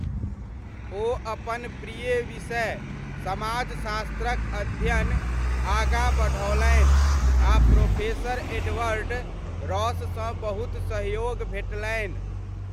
ओ अपन प्रिय विषय समाजशास्त्रक अध्ययन आगाँ बढ़ओलनि आ प्रोफेसर एडवर्ड रॉससँ बहुत सहयोग भेटलनि।